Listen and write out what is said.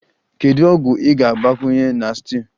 Kedu ogwu ị ga-agbakwunye na stew?